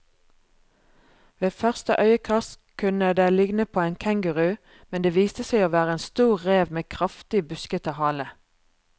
Ved første øyekast kunne den ligne på en kenguru, men det viste seg å være en stor rev med kraftig, buskete hale.